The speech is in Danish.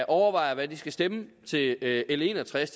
overvejer hvad de skal stemme til l en og tres